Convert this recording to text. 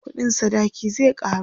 ƙuɗin sadaki zai karu